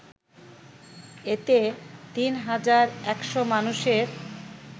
এতে ৩ হাজার ১০০ মানুষের